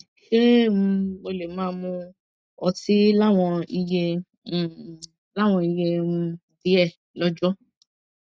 ṣé um mo lè máa mu ọtí láwọn iye um láwọn iye um díẹ lóòjó